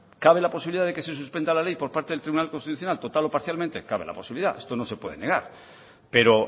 cabe la posibilidad de que se suspenda la ley por parte del tribunal constitucional total o parcialmente cabe la posibilidad esto no se puede negar pero